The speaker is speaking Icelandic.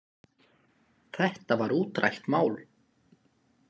Þetta var útrætt mál.